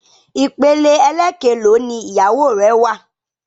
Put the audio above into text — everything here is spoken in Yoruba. Ìpele ẹlẹkelò ni ìyàwó rẹ wà?